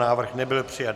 Návrh nebyl přijat.